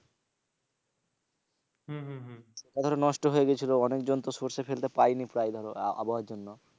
ওটা ধরো নষ্ট হয়ে গিয়েছিল, অনেক জন তো সরষে ফেলতে পাইনি প্রায় ধরো আবহাওয়ার জন্য।